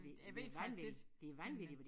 Jeg ved det faktisk ikke men øh